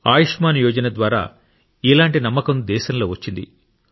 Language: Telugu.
ఆయుష్మాన్ యోజన ద్వారా ఇలాంటి నమ్మకం దేశంలో వచ్చింది